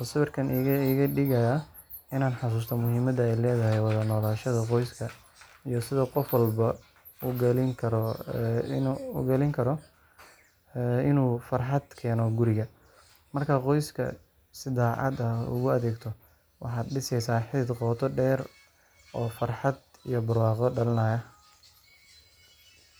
oo sawirkan iga dhigayaa inaan xasuusto muhiimadda ay leedahay wada noolaanshaha qoyska iyo sida qof walba ugaalin karo inuu farxad keeno guriga. Markaad qoyskaaga si daacad ah ugu adeegto, waxaad dhiseysaa xidhiidh qoto dheer oo farxad iyo barwaaqo dhalinaya.